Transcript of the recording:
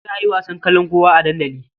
Za a yi wasan kalankuwa a dandali.